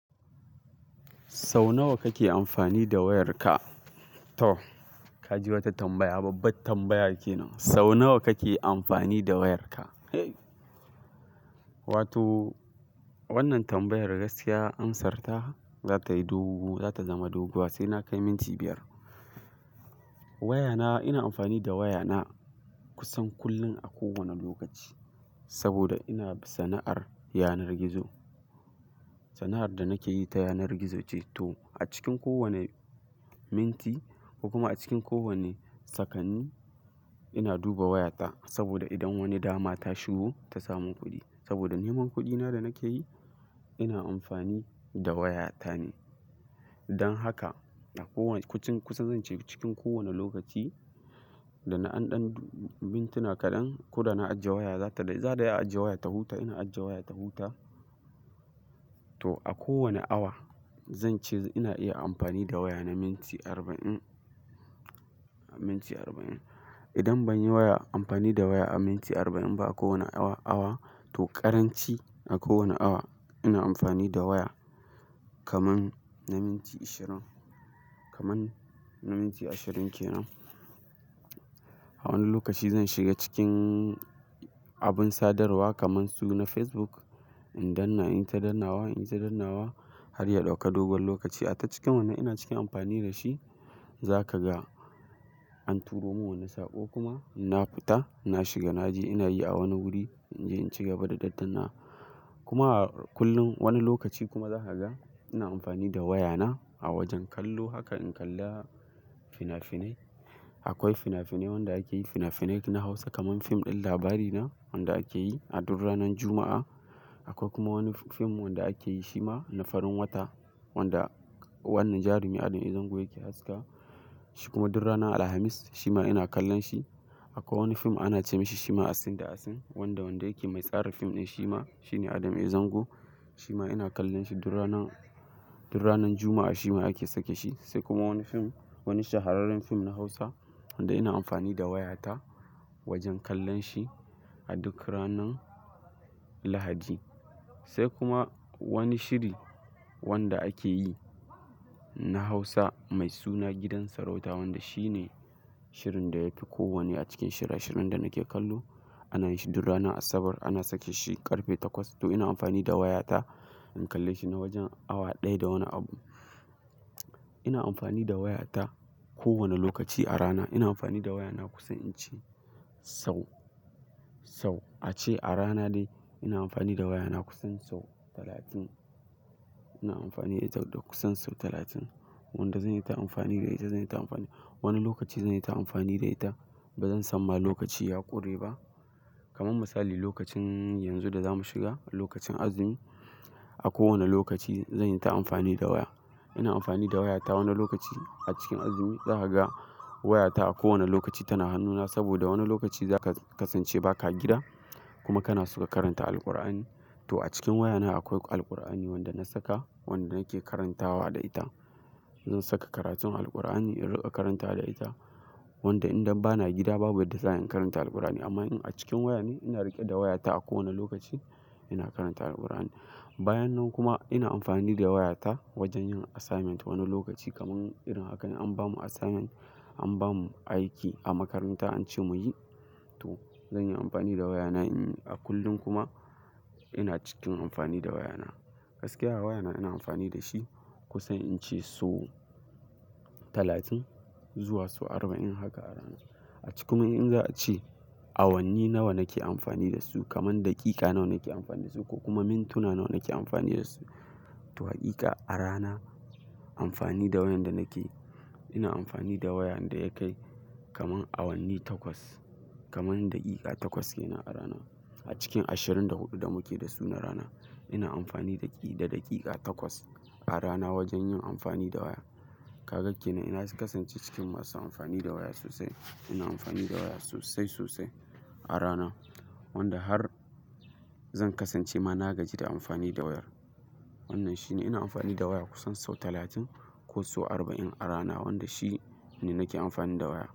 Sau nawa kake amfani da wayarka? To ka ji wata tambaya, babbar tambaya kenan. Sau nawa kake amfani da wayarka? Wato wannan tambayar gaskiya amsarta za ta yi dogo, za ta zama doguwa sai na kai minti biyar. Wayana ina amfani da wayana kusan kullum a kowane lokaci saboda ina sana'ar yanar gizo. Sana'ar da nake yi ta yanar gizo ce, to a cikin kowane minti kuma a cikin kowane sakanni, ina duba wayata saboda idan wani dama ta shigo ta samu kuɗi, saboda neman kuɗina da nake yi ina amfani da wayata ne. Don haka, a kowane-- kucin kusa zan ce cikin kowane lokaci, da na an ɗan mintuna kaɗan ko da na ajiye waya, za ta, za ta ajiye wayata huta ina ajiye wayata huta. To a kowane awa, zan ce ina iya amfani da waya na minti arba'in, minti arba'in. Idan ban yi waya-- amfani da waya a minti arba'in ba a kowane awa, awa, to ƙaranci a kowane awa ina amfani da waya kaman na minti ashirin, kaman na minti ashirin kenan. A wani lokaci zan shiga cikin abin sadarwa kamar su na Facebook in danna in yi ta dannawa, in yi ta dannawa har ya ɗauka dogon lokaci. A ta cikin wannan ina cikin amfani da shi. Za ka ga an turo mun wani saƙo kuma na fita, na shiga, na je ina yi a wani guri, in, je in ci gaba da daddana. Kuma kullum wani lokaci kuma za ka ga ina amfani da wayana a wajen kallo. Haka in kalla fina-finai. Akwai fina-finai wanda ake yi fina-finai na Hausa kamar fim ɗin Labarina wanda ake yi a duk ranar Juma'a. Akwai kuma wani fim wanda ake yi Shima na farin wata wanda wannan jarumi Adam A Zango yake haska. Shi kuma duk ranar Alhamis, Shima ina kallon shi. Akwai wani fim ana ce mishi Shima Asin da Asin, wanda wanda yake mai tsarin fim ɗin Shima shine Adam A Zango. Shima ina kallon shi duk rana, duk ranar Juma'a Shima ake sake shi. Sai kuma wani fim, wani shahararren fim na Hausa, wanda ina amfani da wayata wajen kallon shi a duk ranar Lahadi. Sai kuma wani shiri wanda ake yi na Hausa mai suna Gidan Sarauta wanda shi ne shirin da yafi kowanne a cikin shira-shirin da nake kallo. Ana yi shi duk rana Asabar, ana sake shi ƙarfe takwas. To ina amfani da wayata in kalle shi na wajen awa ɗaya da wani abu. Ina amfani da wayata kowane lokaci a rana ina amfani da wayana kusan in ce sau, sau a ce a rana ɗaya ina amfani da wayana kusan sau talatin. Ina amfani da ita da kusan sau talatin, wanda zan yi ta amfani da ita, zan yi ta amfani. Wani lokaci zan yi ta amfani da ita ba zan san ma lokaci ya ƙure ba. Kaman misali, lokacin yanzu da zamu shiga lokacin azumi a kowane lokaci zan yi ta amfani da waya. Ina amfani da wayata wani lokaci a cikin azumi, za ka ga wayata a kowane lokaci tana hannuna saboda wani lokaci zaka kasance ba ka gida kuma kana so ka karanta Alqur'ani. To a cikin wayana akwai Alqur'ani wanda na saka wanda nake karantawa da ita. Zan saka karatun Alkur'ani in riƙa karanta da ita, wanda idan ba na gida babu yadda zan karanta Alqur'ani amma in a cikin waya ne ina riƙe da wayata a kowane lokaci, ina karanta Alkur'ani. Bayan nan kuma ina amfani da wayata wajen yin assignment, wani lokaci kamar irin haka an bamu assignment, an bamu aiki a makaranta an ce muyi, to zan yi amfani da wayana in yi. A kullum kuma ina cikin amfani da wayana. Gaskiya wayana ina amfani da shi kusan in ce so talatin zuwa so arba'in haka a rana. A cikin kuma in za a ce awanni nawa nake amfani da su, kamar daƙiƙa nawa nake amfani da su, ko kuma mintuna nawa nake amfani da su. To, hakika a rana, amfani da wayar da nake, ina amfani da waya da ya kai kaman awanni takwas, kaman daƙiƙa takwas kenan a rana. A cikin ashirin da huɗu da muke da su na rana ina amfani daƙi, da daƙiƙa takwas a rana wajen yin amfani da waya. Ka ga kenan ina kasance cikin masu amfani da waya sosai. Ina amfani da waya sosai, sosai a rana, wanda har zan kasance ma na gaji da amfani da wayar. Wannan shi ne, ina amfani da waya kusan sau talatin ko so arba'in a rana, wanda shi ne nake amfani da waya.